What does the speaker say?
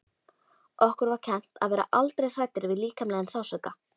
Okkur var kennt að vera aldrei hræddir við líkamlegan sársauka.